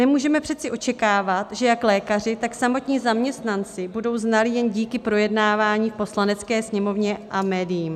Nemůžeme přece očekávat, že jak lékaři, tak samotní zaměstnanci budou znalí jen díky projednávání v Poslanecké sněmovně a médiím.